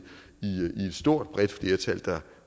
stort bredt flertal der